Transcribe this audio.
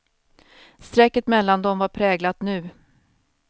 Strecket mellan dem var präglat nu.